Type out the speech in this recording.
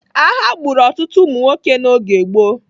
Agha gburu ọtụtụ ụmụnwoke n'oge gboo.